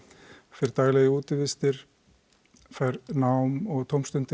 fer daglega í útivistir fær nám og tómstundir